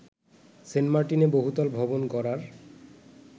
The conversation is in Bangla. সেন্টমার্টিনে বহুতল ভবন গড়ার